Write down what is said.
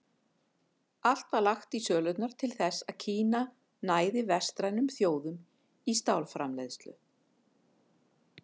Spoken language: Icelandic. Allt var lagt í sölurnar til þess að Kína næði vestrænum þjóðum í stálframleiðslu.